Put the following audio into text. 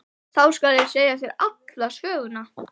Þá skal ég segja þér alla söguna.